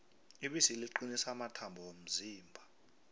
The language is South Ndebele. ibisi liqinisa amathambo womzimba